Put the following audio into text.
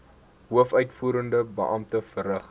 hoofuitvoerende beampte verrig